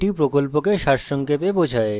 এটি প্রকল্পকে সারসংক্ষেপে বোঝায়